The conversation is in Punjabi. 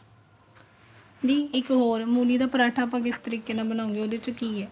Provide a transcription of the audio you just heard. ਦੀ ਇੱਕ ਹੋਰ ਮੂਲੀ ਦਾ ਪਰਾਂਠਾ ਆਪਾਂ ਕਿਸ ਤਰੀਕੇ ਨਾਲ ਬਣਾਉਗੇ ਉਹਦੇ ਚ ਕੀ ਏ